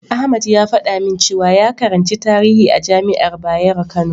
Ahmad ya faɗa min cewa ya karanci tarihi a jami'ar Bayero Kano.